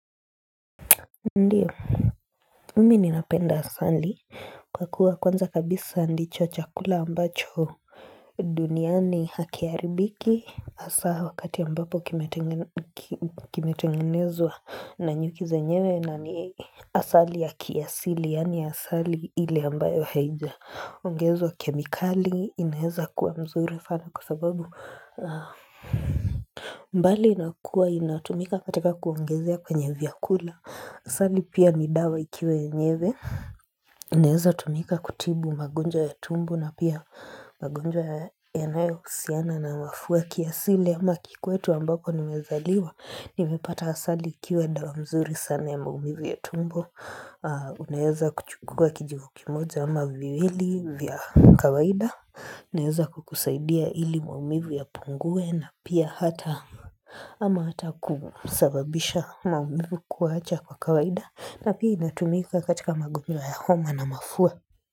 Ndio, mimi ninapenda asali kwa kuwa kwanza kabisa ndicho chakula ambacho duniani hakiharibiki hasa wakati ambapo kimetenge kimetengenezwa na nyuki zenyewe na ni asali ya kiasili yaani asali ile ambayo haijaongezwa kemikali inaeza kuwa mzuri sana kwa sababu mbali na kuwa inatumika katika kuongezea kwenye vyakula Asali pia ni dawa ikiwa yenyewe inaeza tumika kutibu magonjwa ya tumbo na pia magonjwa yanayohusiana na mafua kiasili ama kikwetu ambako nimezaliwa Nimepata asali ikiwa dawa mzuri sana ya maumivu ya tumbo Unaweza kuchukua kijiko kimoja ama viwili vya kawaida inaeza kukusaidia ili maumivu yapungue na pia hata ama hata kusababisha maumivu kuacha kwa kawaida na pia inatumika katika magonjwa ya homa na mafua.